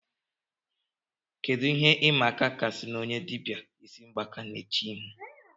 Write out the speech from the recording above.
Kedu ihe ịma aka kasịnụ onye dibịa ịsị mgbaka na-eche ihu